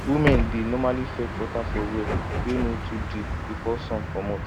women dey normally fetch water for well wey no too deep before sun commot